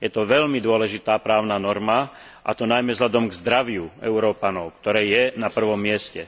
Je to veľmi dôležitá právna norma, a to najmä vzhľadom na zdravie Európanov, ktoré je na prvom mieste.